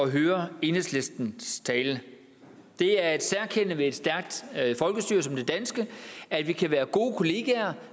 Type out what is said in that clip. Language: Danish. høre enhedslistens tale det er et særkende ved et stærkt folkestyre som det danske at vi kan være gode kollegaer